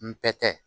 N bɛ tɛ